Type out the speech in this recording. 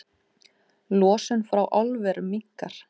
Losun frá álverum minnkar